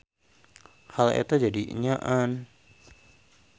Hal eta jadi enyaan.